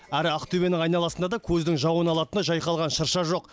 әрі ақтөбенің айналасында да көздің жауын алатындай жайқалған шырша жоқ